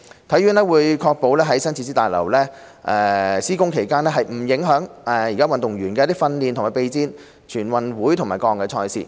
體院會確保在新設施大樓施工期間，不會影響運動員的訓練和備戰全運會及各項賽事。